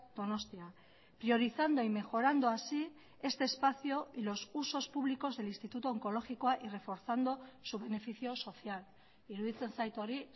donostia priorizando y mejorando así este espacio y los usos públicos del instituto onkologikoa y reforzando su beneficio social iruditzen zait hori